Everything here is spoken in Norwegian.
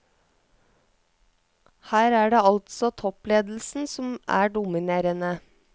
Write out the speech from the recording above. Her er det altså toppledelsen som er dominerende.